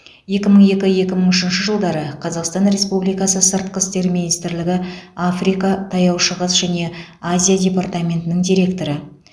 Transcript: екі мың екі екі мың үшінші жылдары қазақстан республикасы сыртқы істер министрлігі африка таяу шығыс және азия департаментінің директоры